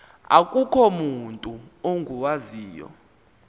akukho mutu ungawaziyo